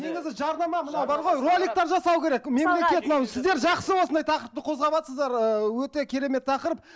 негізі жарнама мынау бар ғой роликтер жасау керек мемлекет мынау сіздер жақсы осындай тақырыпты қозғаватсыздар ыыы өте керемет тақырып